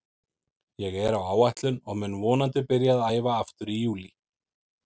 Ég er á áætlun og mun vonandi byrja að æfa aftur í júlí.